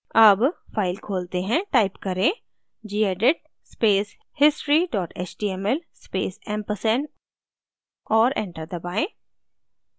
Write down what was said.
अब file खोलते हैं टाइप करें gedit space history html space ampersand और enter दबाएँ